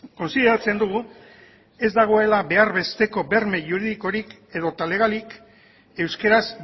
kontsideratzen dugu ez dagola behar besteko berme juridikorik edota legalik euskaraz